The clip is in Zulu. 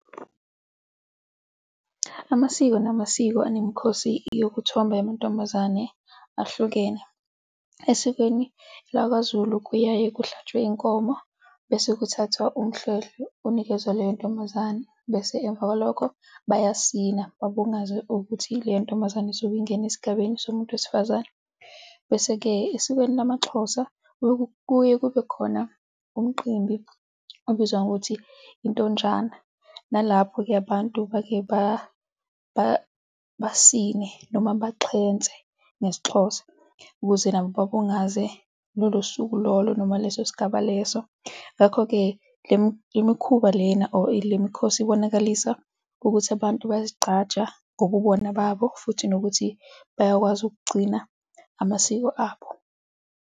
Amasiko namasiko anemikhosi yokuthomba amantombazane ahlukene. Esikweni lakwaZulu kuyaye kuhlatshwe inkomo bese kuthathwa umhlwehlwe unikezwe leyo ntombazane bese emva kwalokho bayasina, babungaze ukuthi leyo ntombazane izobe ingena esigabeni somuntu wesifazane bese-ke esikweni lamaXhosa, kuye kube khona umqimbi obizwa ngokuthi i-Ntonjana, nalapho-ke abantu basine, noma baxhense ngesiXhosa ukuze nabo babungaze lolo suku lolo noma leso sigaba leso. Ngakho-ke, le mikhuba lena or le mikhosi ibonakalisisa ukuthi abantu bayazigqaja ngobubona babo futhi nokuthi bayakwazi ukugcina amasiko abo.